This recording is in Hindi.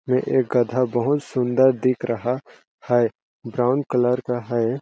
ये एक गधा बहुत सुन्दर दिख रहा है ब्राउन कलर का है।